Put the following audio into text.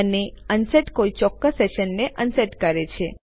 અને અનસેટ કોઈ ચોક્કસ સેશનને અનસેટ કરે છે